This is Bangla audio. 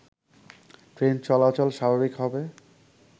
ট্রেন চলাচল স্বাভাবিক হবে